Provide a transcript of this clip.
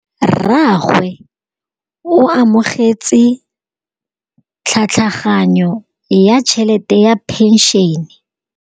Rragwe o amogetse tlhatlhaganyô ya tšhelête ya phenšene.